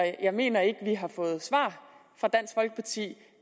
jeg mener ikke vi har fået svar fra dansk folkeparti